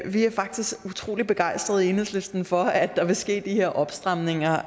er faktisk utrolig begejstrede i enhedslisten for at der vil ske de her opstramninger